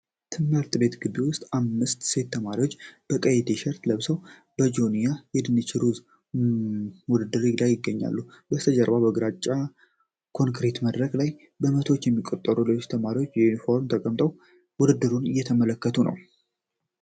ትምህርት ቤት ግቢ ውስጥ አምስት ሴት ተማሪዎች በቀይ ቲሸርት ለብሰው በጆንያ የድንች ሩጫ ውድድር ላይ ይገኛሉ። በስተጀርባ በግራጫ ኮንክሪት መድረክ ላይ በመቶዎች የሚቆጠሩ ሌሎች ተማሪዎች በዩኒፎርም ተቀምጠው ውድድሩን እየተመለከቱ ነው።